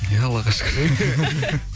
иә аллаха шүкір